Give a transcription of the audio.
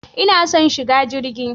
Ina son shiga jirgi.